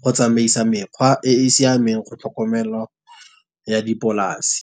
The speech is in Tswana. go tsamaisa mekgwa e e siameng, go tlhokomelwa ya dipolase.